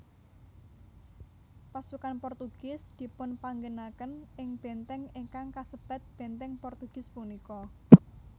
Pasukan Portugis dipunpanggenaken ing Bèntèng ingkang kasebat Benteng Portugis punika